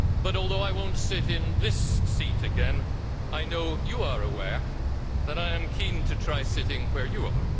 Although I will not sit in this seat again, I know you are aware that I am keen to try sitting where you are.